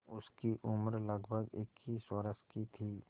उसकी उम्र लगभग इक्कीस वर्ष की थी